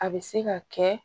A bɛ se ka kɛ